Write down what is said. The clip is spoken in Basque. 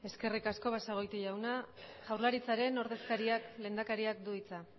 eskerrik asko basagoiti jauna jaurlaritzaren ordezkariak lehendakariak du hitza